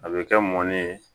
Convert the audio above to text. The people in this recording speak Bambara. A bɛ kɛ mɔni ye